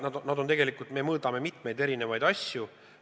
Me mõõdame tegelikult väga erinevaid asju.